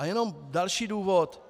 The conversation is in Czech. A jenom další důvod.